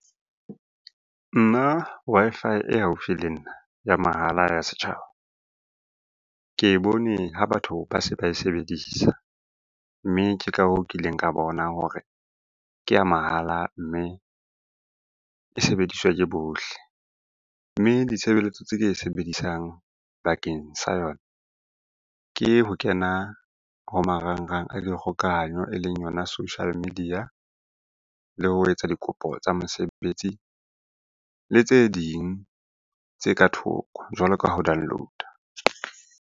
Nna Wi-Fi e haufi le nna ya mahala ya setjhaba. Ke e bone ho batho ba se ba e sebedisa, mme ke ka hoo ke ileng ka bona hore ke ya mahala mme e sebediswa ke bohle. Mme ditshebeletso tse sebedisang bakeng sa yona ke ho kena ho marangrang a dikgokahanyo e leng yona social media le ho etsa dikopo tsa mosebetsi. Le tse ding tse ka thoko jwalo ka ho download-a.